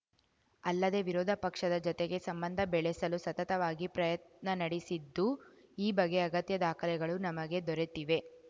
ಅಲ್ಲದೆ ವಿರೋಧಪಕ್ಷದ ಜತೆಗೆ ಸಂಬಂಧ ಬೆಳೆಸಲು ಸತತವಾಗಿ ಪ್ರಯತ್ನ ನಡೆಸಿದ್ದು ಈ ಬಗ್ಗೆ ಅಗತ್ಯ ದಾಖಲೆಗಳು ನಮಗೆ ದೊರೆತಿವೆ